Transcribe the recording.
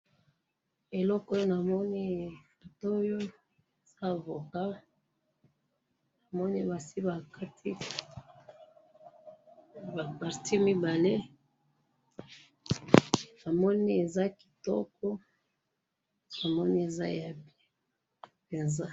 eloko oyo namoni photo oyooo eza avocat namoni basi bakati ma parti mibale namoni eza kitoko namoni eza ya bien eza